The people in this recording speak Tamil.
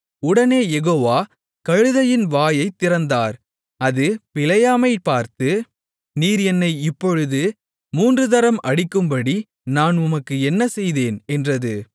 உடனே யெகோவா கழுதையின் வாயைத் திறந்தார் அது பிலேயாமைப் பார்த்து நீர் என்னை இப்பொழுது மூன்று தரம் அடிக்கும்படி நான் உமக்கு என்ன செய்தேன் என்றது